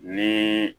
Ni